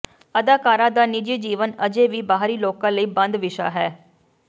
ਅਦਾਕਾਰਾ ਦਾ ਨਿੱਜੀ ਜੀਵਨ ਅਜੇ ਵੀ ਬਾਹਰੀ ਲੋਕਾਂ ਲਈ ਬੰਦ ਵਿਸ਼ਾ ਹੈ